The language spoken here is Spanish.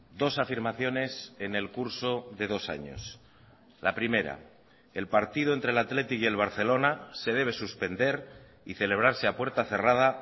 dos afirmaciones en el curso de dos años la primera el partido entre el athletic y el barcelona se debe suspender y celebrarse a puerta cerrada